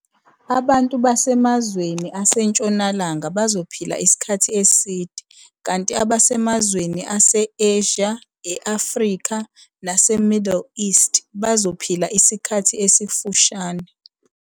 Abantu basemazweni asentshonalanga bazophila isikhathi eside kanti abasemazweni ase-Asia, e-Afrika nase-Middle East bazophila isikhathi esifushane.